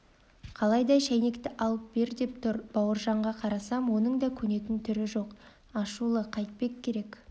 қалайда шәйнекті алып бер деп тұр бауыржанға қарасам оның да көнетін түрі жоқ ашулы қайтпек керек